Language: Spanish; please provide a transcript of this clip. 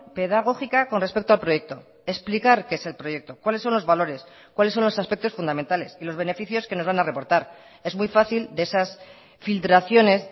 pedagógica con respecto al proyecto explicar qué es el proyecto cuáles son los valores cuáles son los aspectos fundamentales y los beneficios que nos van a reportar es muy fácil de esas filtraciones